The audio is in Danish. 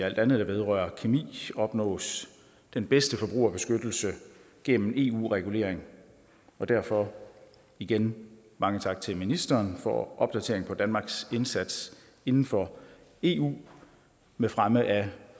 alt andet der vedrører kemi opnås den bedste forbrugerbeskyttelse gennem eu regulering og derfor igen mange tak til ministeren for opdatering på danmarks indsats inden for eu med fremme af